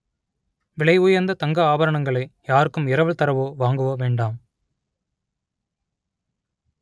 விலை உயர்ந்த தங்க ஆபரணங்களை யாருக்கும் இரவல் தரவோ வாங்கவோ வேண்டாம்